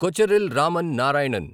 Kocheril Raman Narayanan